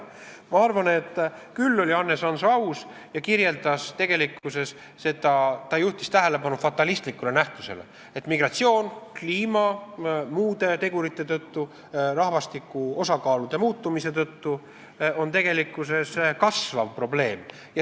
Ma arvan, et Hannes Hanso oli aus ja juhtis tähelepanu fatalistlikule nähtusele, et migratsioon on kliima, rahvastiku osakaalude muutumise ja muude tegurite tõttu kasvav probleem.